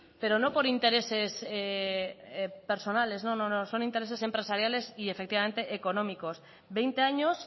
pero no por intereses personales no no no son intereses empresariales y efectivamente económicos veinte años